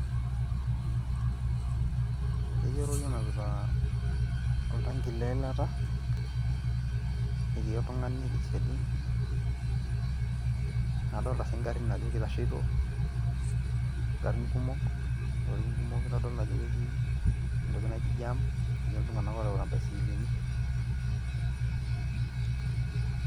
Ketii orori onapita oltanki leilata, etii oltung'ani tesiadi. Adolta si garrin ajo keitasheito, igarrin kumok, ilorin kumok, itodolu ajo ketii entoki naji jam. Etii iltung'anak oreuta imbaisikilini.